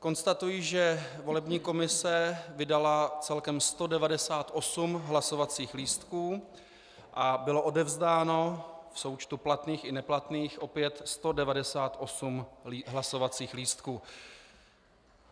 Konstatuji, že volební komise vydala celkem 198 hlasovacích lístků a bylo odevzdáno v součtu platných i neplatných opět 198 hlasovacích lístků.